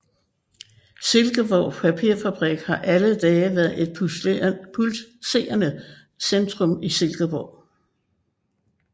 Silkeborg Papirfabrik har alle dage været et pulserende centrum i Silkeborg